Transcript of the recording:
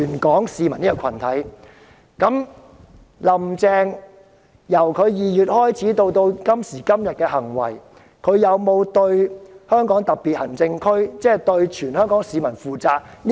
觀乎"林鄭"由今年2月至今的行為，她有沒有對香港特別行政區，即全香港市民負責？